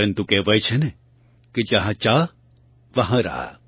પરન્તુ કહેવાય છે ને કે જહાં ચાહ વહાં રાહ